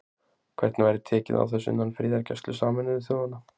Hvernig væri tekið á þessu innan friðargæslu Sameinuðu þjóðanna?